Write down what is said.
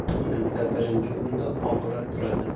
Bizda birinchi o‘rinda oqibat turadi.